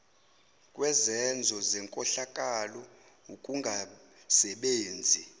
kwezenzo zenkohlakalo ukungasebenzi